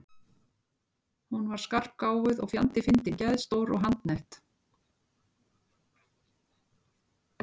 Hún var skarpgáfuð og fjandi fyndin, geðstór og handnett.